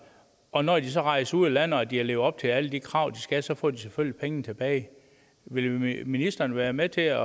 og når de så rejser ud af landet og de har levet op til alle de krav de skal så får de selvfølgelig pengene tilbage vil ministeren være med til at